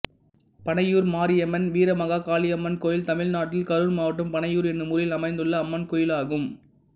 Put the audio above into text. பணையூர் மாரியம்மன் வீரமாகாளியம்மன் கோயில் தமிழ்நாட்டில் கரூர் மாவட்டம் பணையூர் என்னும் ஊரில் அமைந்துள்ள அம்மன் கோயிலாகும்